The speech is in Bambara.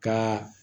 Ka